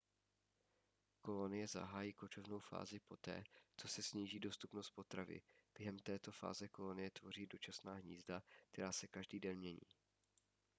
kolonie zahájí kočovnou fázi poté co se sníží dostupnost potravy během této fáze kolonie tvoří dočasná hnízda která se každý den mění